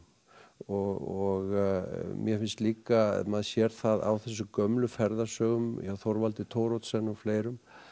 og mér finnst líka maður sér það á þessum gömlu ferðasögum hjá Þorvaldi Thoroddsen og fleirum